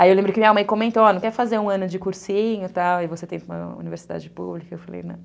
Aí eu lembro que minha mãe comentou, ó, não quer fazer um ano de cursinho e tal, e você tem uma universidade pública, eu falei,